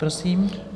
Prosím.